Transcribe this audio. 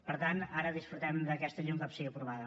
per tant ara disfrutem d’aquesta llei un cop sigui aprovada